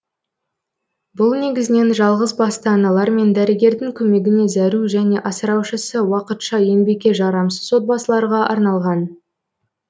бұл негізінен жалғызбасты аналар мен дәрігердің көмегіне зәру және асыраушысы уақытша еңбекке жарамсыз отбасыларға арналған